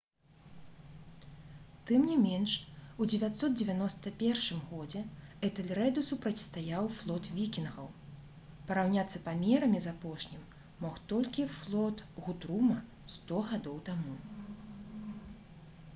тым не менш у 991 годзе этэльрэду супрацьстаяў флот вікінгаў параўняцца памерамі з апошнім мог толькі флот гутрума сто гадоў таму